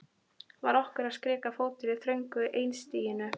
Var okkur að skrika fótur í þröngu einstiginu?